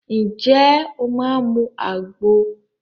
Ǹjẹ́ o máa mu àgbo?